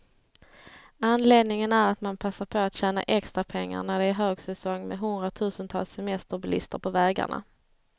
Anledningen är att man passar på att tjäna extra pengar, när det är högsäsong med hundratusentals semesterbilister på vägarna.